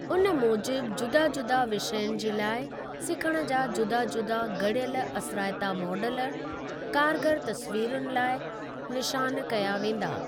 उन मूजिबु जुदा जुदा विषयनि जे लाइ सिखण जा जुदा जुदा गड़ियल असराइता मॉडल, कारगर तस्वीरुनि लाइ निशान कया वेंदा।